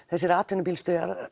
þessir atvinnubílstjórar